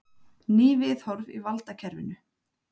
Ný viðhorf í valdakerfinu